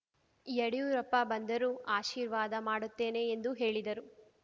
ಯಡಿಯೂರಪ್ಪ ಬಂದರೂ ಆಶೀರ್ವಾದ ಮಾಡುತ್ತೇನೆ ಎಂದು ಹೇಳಿದರು